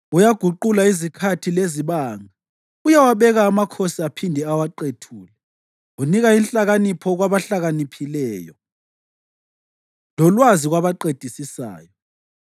Uyaguqula izikhathi lezibanga; uyawabeka amakhosi aphinde awaqethule. Unika inhlakanipho kwabahlakaniphileyo lolwazi kwabaqedisisayo.